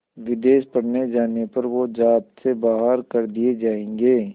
विदेश पढ़ने जाने पर वो ज़ात से बाहर कर दिए जाएंगे